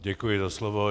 Děkuji za slovo.